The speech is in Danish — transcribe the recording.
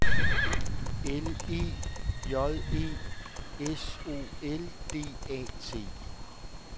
L E J E S O L D A T